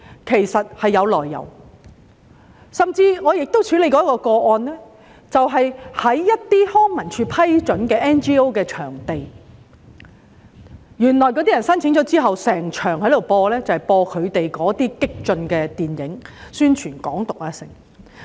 其實也有來由，在我曾處理的一宗個案中，甚至有康樂及文化事務署批准的 NGO 場地被申請人用作播映內容激進、宣揚"港獨"的電影。